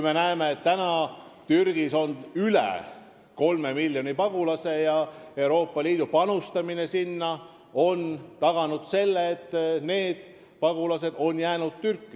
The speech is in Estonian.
Me näeme, et praegu on Türgis üle 3 miljoni pagulase ja Euroopa Liidu sinna panustamine on taganud selle, et need pagulased on Türki jäänud.